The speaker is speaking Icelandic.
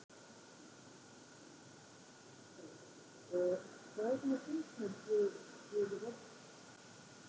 Helga: Og hvað er svona fyndnast við, við þessa þætti?